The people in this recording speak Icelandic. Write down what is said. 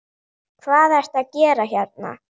Hvað ertu að gera hérna?